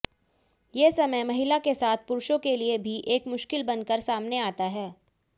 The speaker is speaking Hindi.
ये समय महिला के साथ पुरुषों के लिए भी एक मुश्किल बनकर सामने आता है